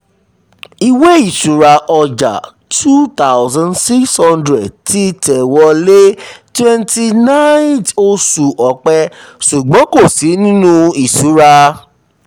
ìwé-ìṣirò ọjà two thousand six hundred ti tẹ̀wọlé twenty nine th oṣù ọpẹ ṣùgbọ́n kò sí nínú ìṣura.